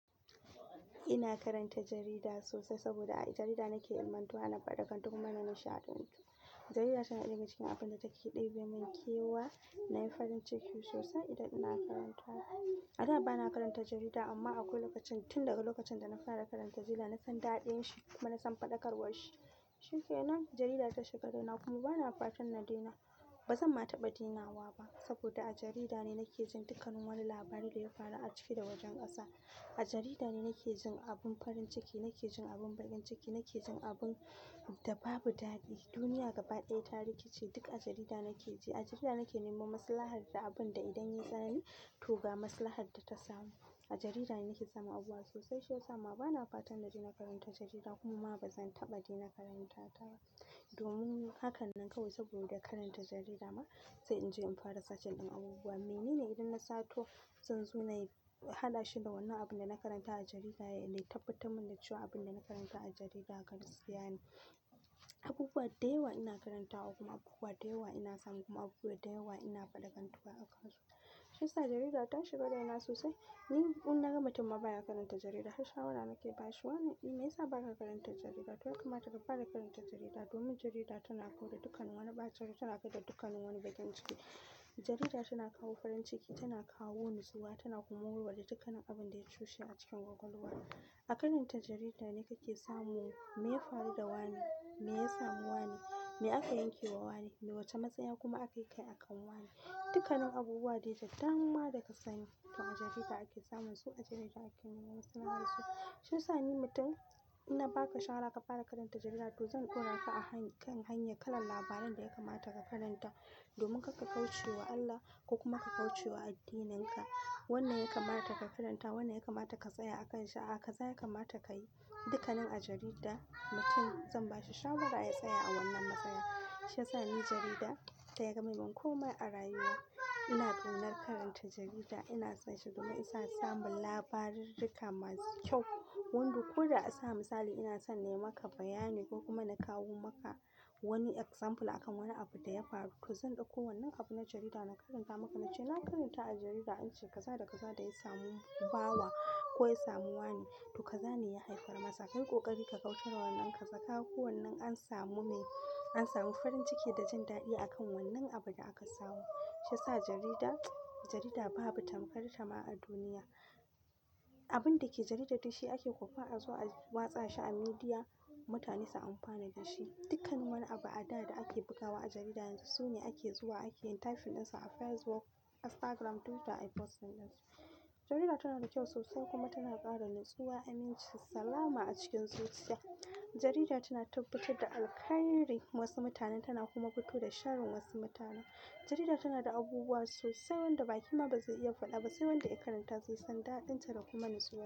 Ina karanta jarida sosai saboda a jarida nake ilmantuwa, na faɗakantu kuma na nishaɗantu. Jarida tana ɗiga cikin abun da take ɗibe mun kewa, nayi farin ciki sosai idan ina karanta ta. A da bana karanta jarida amma akwai lokacin, tun daga lokacin da na fara karanta jarida na san daɗin shi kuma na san faɗakarwar shi. Shi ke nawa jarida ta shiga raina na kuma bana fatan na daina, bazan ma taɓa yin dinawa ba saboda a jarida ne nake jin dukkan nin wani labari daya faru a ciki da wajen ƙasa. A jarida ne nake jin abun farin ciki, nake jin abun bakin ciki, nake jin abun da babu daɗi. Duniya gaba ɗaya, tarihi ce duk a jarida nake ji. A jarida nake neman masalahar da abin da idan yayi tsama to ba masalahar data masu. A jarida ne nake samun abubuwa sosai shi yasa ma bana fatan na daina karanta jarida kuma bazan taɓa daina karanta ta ba. Domin haka nan kawai saboda karanta jarida ma, sai in je in fara searching din abubuwa. Mai ne ne idan na sato, zan zo nayi haɗa shi da wannan abun da na karanta a jarida, ya tabbatar mun da cewa abun da na karanta a jarida gaskiya ne. Abubuwa da yawa ina karantawa kuma abubuwa da yawa ina samu kuma abubuwa da yawa ina faɗakantuwa a kan su. Shi yasa jarida ta shiga raina sosai. Ni in na gama mutum ma ba ya karanta jarida, shawara nake ba shi. Wani meya sa baka karanta jarida? To ya kamata ka fara karanta jarida domin jarida tana kauda dukkan wani ɓace rai, tana kauɗa dukkan kanin wani bakin ciki. Jarida tana kawo farin ciki, tana kawo natsuwa, tana kuma warware duk kanin abin da ya toshe a cikin kwakwaulwa. A karanta jarida ne kake samun meye faru da wani, meya samu wani, me aka yanke ma wani, wace matsaya kuma ake akai akan wani. Dukkanin abubuwa dai da dama da ka sani, to a jarida ake samun su, a jarida ake neman maslahar su. Shi yasa ni mutum ina ba ka shawara ka fara karanta jarida to zan kora ka a kan hanya kalar labaran da ya kamata ka karanta domin karka kauce wa Allah ko kuma ka kauce wa addininka. Wanan ya kamata ka karanta, wannan ya kamata ka tsaya a kanshi, a'a kaza ya kamata kayi dukkanin a jarida, mutum zan ba shi shawara ya tsaya a wannan matsaya. Shi yasa ni jarida ta gama mun kuma a rayuwa ina ƙaddar karanta jarida, ina son shi domin ina samun labarurruka masu kyau. Wanda ko da a sa misali ina son na yi maka bayani ko kuma na kawo maka wani example akan wani abu da ya faru zan dauko wanan abu na jarida na karanta maka nace na karanta a jarida ance kaza da kaza daya samu bawa ko ya samu wani toh kaza ne ya haifar masa. Kai ƙoƙari ka kauce wa wannan kaza. Kaga ko wannan an samu me, an samu farin ciki da jin daɗi a kan wannan abun da aka samu. Shi yasa jarida, jarida babu tamkar ta ma a duniya. Abun dake jarida dai shi ake kwafa a zo a watsa shi a midiya, mutane su amfana da shi. Dukkan nin wani abu a da da ake bugawa a jarida yanzu su ne ake zuwa ake yin tafin ɗin su a Facebook, Instagram, Twitter ai posts ɗin su. Jarida tana da kyau sosai kuma tana ƙara ni zuwa aminci, salama a cikin zuciya. Jarida tana tabbatar da alkhairi wasu mutanen tana kuma fito da sharin wasu mutanen. Jarida tana da abubuwa sosai wanda ba kina ba zai iya faɗa ba, sai wanda ya karanta zai san daɗin ta da kuma natsuwa.